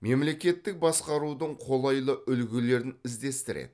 мемлекеттік басқарудың қолайлы үлгілерін іздестіреді